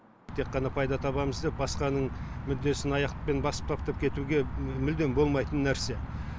тек қана пайда табамыз деп басқаның мүддесін аяқпен басып таптап кетуге мүлдем болмайтын нәрсе